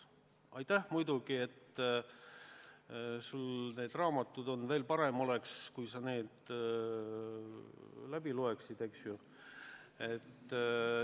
Aitäh muidugi, et sul need raamatud on, veel parem oleks, kui sa need läbi loeksid!